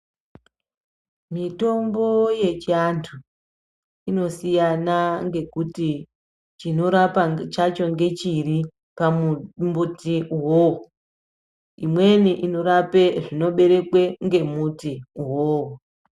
Mitombo yechiantu inosiyana ngekuti chinorapa chacho ngechiri pamuti uwowo. Imweni inorape zvinoberekwe ngemuti uwowo.